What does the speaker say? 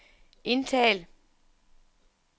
indtal